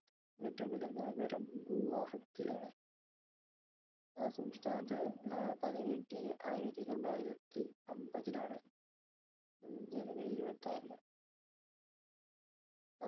ഏറ്റവും വലിയ നഗരം ഗുവാഹത്തി ആണ് ആ സംസ്ഥാനത്തിന് ഏർ പദവി കിട്ടിയത് ആയിരത്തിത്തൊള്ളായിരത്തിഅമ്പതിലാണ് ഏർ January ഇരുപത്തിആറിന്